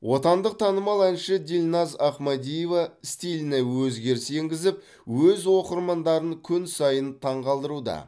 отандық танымал әнші дильназ ахмадиева стиліне өзгеріс енгізіп өз оқырмандарын күн сайын таңғалдыруда